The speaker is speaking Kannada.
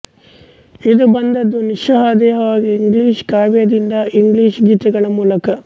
ಇದು ಬಂದುದು ನಿಸ್ಸಂದೇಹವಾಗಿ ಇಂಗ್ಲಿಷ್ ಕಾವ್ಯದಿಂದ ಇಂಗ್ಲಿಷ್ ಗೀತಗಳ ಮೂಲಕ